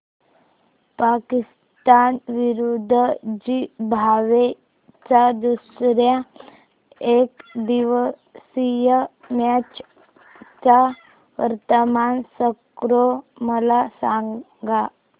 पाकिस्तान विरुद्ध झिम्बाब्वे च्या दुसर्या एकदिवसीय मॅच चा वर्तमान स्कोर मला सांगा